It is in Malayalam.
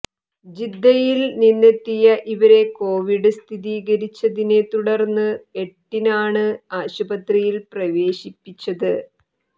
ജിദ്ദയിൽ നിന്നെത്തിയ ഇവരെ കോവിഡ് സ്ഥിരീകരിച്ചതിനെ തുടർന്ന് എട്ടിനാണ് ആശുപത്രിയിൽ പ്രവേശിപ്പിച്ചത്